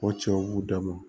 O cɛw b'u dama